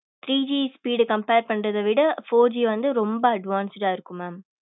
three G speed compare பண்றது விட four G வந்து ரொம்ப advanced டா இருக்கும் mam